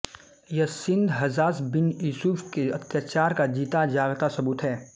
यह Sindh Hajjaj bin Yusuf के अत्याचार का जीता जागता सबूत है